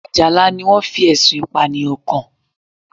Àjàlá ni wọ́n fi Ẹ̀sùn Ìpànìyàn kàn